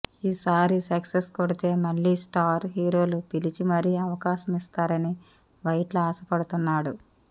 ఈసారి సక్సెస్ కొడితే మళ్లీ స్టార్ హీరోలు పిలిచి మరీ అవకాశం ఇస్తారని వైట్ల ఆశ పడుతున్నాడు